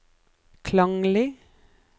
klanglig